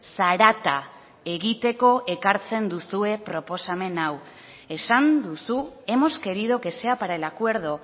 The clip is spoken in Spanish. zarata egiteko ekartzen duzue proposamen hau esan duzu hemos querido que sea para el acuerdo